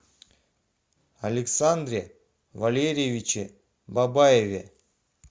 александре валерьевиче бабаеве